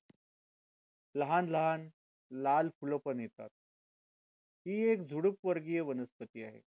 लहान लहान लाल फुलं पण येतात ही एक झुडूप वर्गीय वनस्पती आहे